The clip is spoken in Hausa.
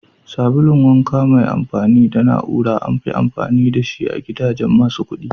Sabun wanka mai amfani da na'ura amfi amfani da shi a gidajen masu kudi.